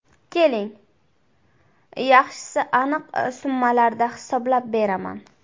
Keling, yaxshisi aniq summalarda hisoblab beraman.